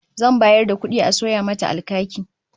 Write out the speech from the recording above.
Zan bayar da kudi a sayo mata alkaki